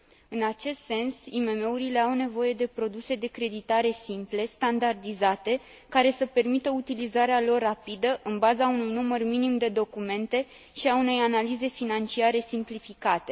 În acest sens, IMM urile au nevoie de produse de creditare simple, standardizate, care să permită utilizarea lor rapidă, în baza unui număr minim de documente, și a unei analize financiare simplificate.